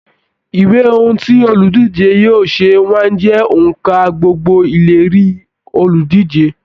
Ìwé ohùn tí oludije yóò ṣe máa ń jẹ onka gbogbo ìlérí oludije.